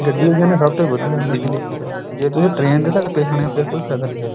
ਗੱਡੀ ਤੇ ਜਾਣੇ ਆ ਸਭ ਤੇ ਵਧੀਆ ਜੇ ਤੁਸੀਂ train ਦੇ ਧੱਕੇ ਖਾਣੇ ਆ ਫ਼ੇਰ ਕੋਈ ਫਾਇਦਾ ਨੀ ਹੈ